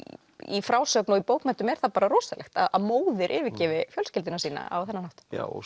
í frásögn og í bókmenntum er það bara rosalegt að móðir yfirgefi fjölskylduna sína á þennan hátt já